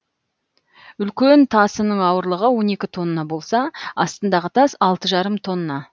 үлкен тасының ауырлығы он екі тонна болса астындағы тас алты жарым тонна